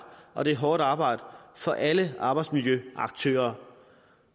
og det er hårdt arbejde for alle arbejdsmiljøaktører